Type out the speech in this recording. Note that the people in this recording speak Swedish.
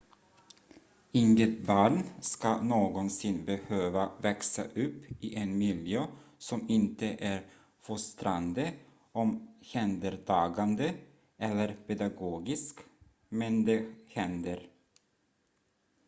inget barn ska någonsin behöva växa upp i en miljö som inte är fostrande omhändertagande eller pedagogisk men det händer